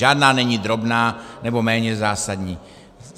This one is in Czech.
Žádná není drobná nebo méně zásadní.